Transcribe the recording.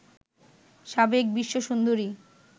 সাবেক বিশ্বসুন্দরী